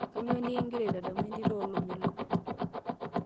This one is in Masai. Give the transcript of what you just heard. kanyoo nekingira itadamu entito ee Lomelok